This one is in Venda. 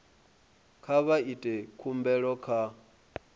kha vha ite khumbelo kha